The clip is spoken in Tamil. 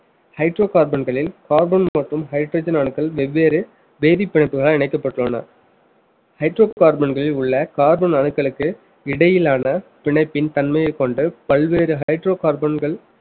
hydrocarbon களில் carbon மற்றும் hydrogen அணுக்கள் வெவ்வேறு வேதிப்பிணைப்புகளால் இணைக்கப்பட்டுள்ளன hydrocarbon களில் உள்ள carbon அணுக்களுக்கு இடையிலான பிணைப்பின் தன்மையை கொண்டு பல்வேறு hydrocarbon கள்